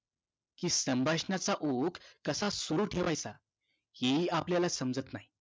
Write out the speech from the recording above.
कि संभाषणाचा ओघ कसा सुरु ठेवायचा हे हि आपल्याला समजत नाही